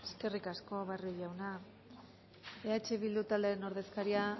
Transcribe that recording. eskerrik asko barrio jauna eh bildu taldearen ordezkaria